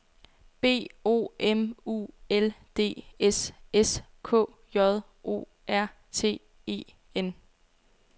B O M U L D S S K J O R T E N